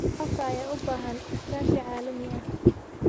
Waraabka ayaa u baahan iskaashi caalami ah.